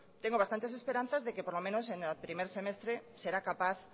tengo bastantes esperanzas de que por lo menos en el primer semestre será capaz